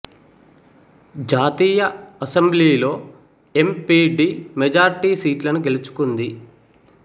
జాతీయ అసెంబ్లీలో M P D majority సీట్లను గెలుచుకుంది